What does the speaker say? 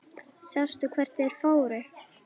Sástu hvert þeir fóru?